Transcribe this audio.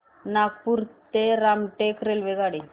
नागपूर ते रामटेक रेल्वेगाडी